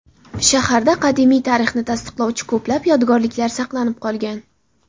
Shaharda qadimiy tarixni tasdiqlovchi ko‘plab yodgorliklar saqlanib qolgan.